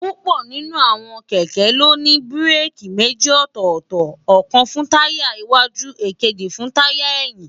púpọ̀ nínú àwọn kẹ̀kẹ́ ló ní búréèkì méjì ọ̀tọ̀ọ̀tọ̀, ọ̀kan fún táyà iiwájú, èkejì fún táyà ẹ̀yìn